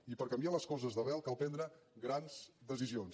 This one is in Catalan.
i per canviar les coses d’arrel cal prendre grans decisions